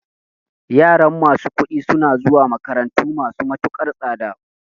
Yaran masu kuɗi suna zuwa makarantu masu matukar tsada